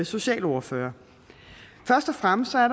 socialordfører først og fremmest er